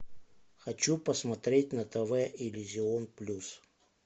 хочу посмотреть на тв иллюзион плюс